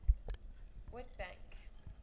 witbank